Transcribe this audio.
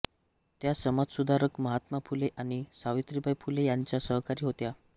त्या समाजसुधारक महात्मा फुले आणि सावित्रीबाई फुले यांच्या सहकारी होत्या